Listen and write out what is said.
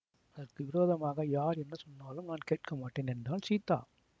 அதற்கு விரோதமாக யார் என்ன சொன்னாலும் நான் கேட்க மாட்டேன் என்றாள் சீதா